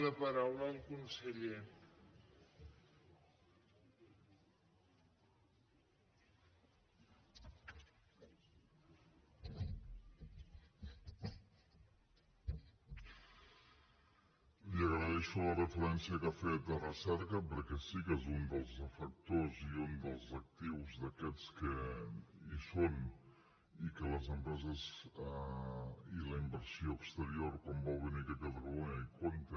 li agraeixo la referència que ha fet a recerca perquè sí que és un dels factors i un dels actius d’aquests que hi són i que les empreses i la inversió exterior quan vol venir aquí a catalunya hi compta